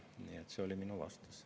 Nii et see oli minu vastus.